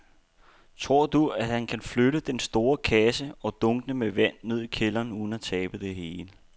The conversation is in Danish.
Tror du, at han kan flytte den store kasse og dunkene med vand ned i kælderen uden at tabe det hele?